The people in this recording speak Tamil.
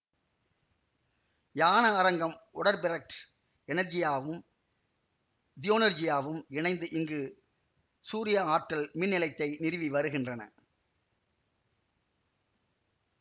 யான அரங்கம் ஒடெர்பிரெக்ட் எனர்ஜியாவும் ஜியோனர்ஜியாவும் இணைந்து இங்கு சூரியவாற்றல் மின்நிலையத்தை நிறுவி வருகின்றன